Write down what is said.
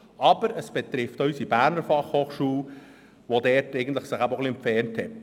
Aber es betrifft auch die BFH, die sich ebenfalls von der Praxis entfernt hat.